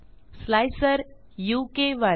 slicer उ के 1